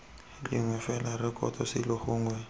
lengwe fela rekoto selo gongwe